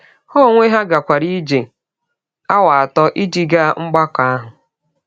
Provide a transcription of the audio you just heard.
Ha onwe ha gakwara ije awa atọ ịjị gaa mgbakọ ahụ.